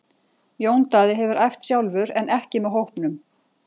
Jón Daði hefur æft sjálfur en ekki með hópnum.